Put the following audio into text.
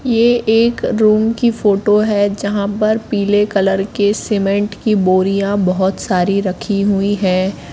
ये एक रूम की फोटो है जहां पर पीले कलर के सीमेंट की बोरियां बहुत सारी रखी हुई हैं।